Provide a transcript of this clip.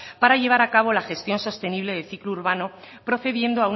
para llevar a cabo la gestión sostenible del ciclo urbano procediendo